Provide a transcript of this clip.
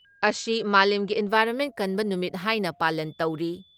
ꯑꯁꯤ ꯃꯥꯂꯦꯝꯒꯤ ꯏꯟꯚꯥꯏꯔꯣꯟꯃꯦꯟ ꯀꯟꯕ ꯅꯨꯃꯤꯠ ꯍꯥꯏꯅ ꯄꯥꯂꯟ ꯇꯧꯔꯤ ꯫